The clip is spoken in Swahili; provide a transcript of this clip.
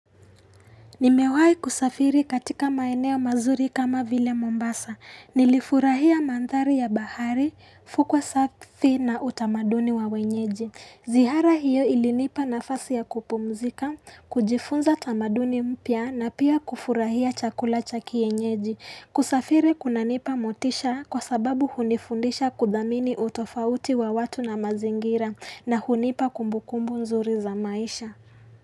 Nimewai kusafiri katika maeneo mazuri kama vile Mombasa. Nilifurahia manthari ya bahari, fukwa safi na utamaduni wa wenyeji. Zihara hiyo ilinipa nafasi ya kupumzika, kujifunza utamaduni mpya na pia kufurahia chakula cha kienyeji. Kusafiri kunanipa motisha kwa sababu hunifundisha kudhamini utofauti wa watu na mazingira na hunipa kumbukumbu nzuri za maisha.